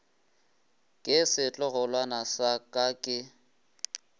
ke setlogolwana sa ka ke